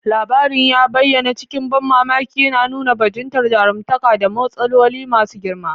Labarin ya bayyana cikin ban mamaki, yana nuna bajintar jaruntaka da matsaloli masu girma.